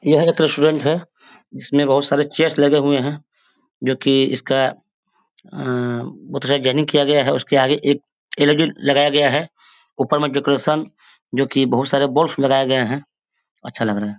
यह एक रेस्टोरेंट है। इसमें बहोत सारे चेस लगे हुए है । जो की इसका अ किया गया है। उसके आगे एकं एलईडी लगाया गया है। ऊपर में डेकोरेशन जो की बहोत सारे बल्ब लगाये गए है। अच्छा लग रहा है।